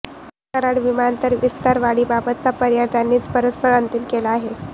कराड विमानतळ विस्तारवाढीबाबतचा पर्याय त्यांनीच परस्पर अंतिम केला आहे